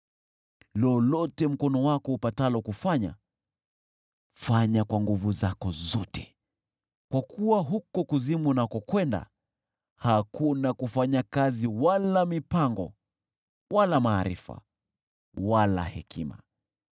Lolote mkono wako upatalo kufanya, fanya kwa nguvu zako zote, kwa kuwa huko kuzimu, unakokwenda, hakuna kufanya kazi wala mipango wala maarifa wala hekima.